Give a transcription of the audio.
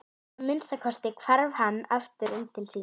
Að minnsta kosti hvarf hann aftur inn til sín.